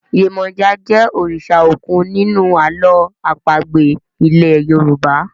Yemoja jé òrìṣà òkun nínú àlọ́ àpagbè ilè yorùbá.